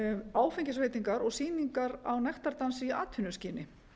áfengisveitingar og sýningar á nektardansi í atvinnuskyni